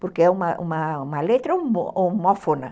Porque é uma uma letra homófona.